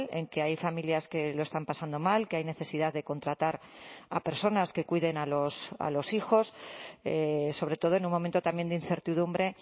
en que hay familias que lo están pasando mal que hay necesidad de contratar a personas que cuiden a los hijos sobre todo en un momento también de incertidumbre